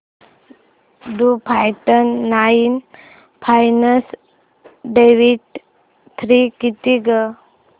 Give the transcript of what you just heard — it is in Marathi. to forty nine minus twenty three किती गं